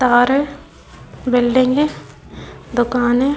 तार है बिल्डिंग है दुकान है ।